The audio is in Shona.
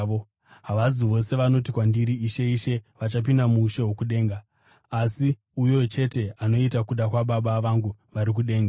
“Havasi vose vanoti kwandiri, ‘Ishe, Ishe’ vachapinda muushe hwokudenga, asi uyo chete anoita kuda kwaBaba vangu vari kudenga.